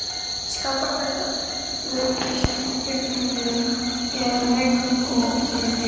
Skapar þetta öryggistilfinningu eða vekur óöryggi?